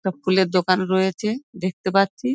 সব ফুলের দোকান রয়েচে দেখতে পাচ্ছি।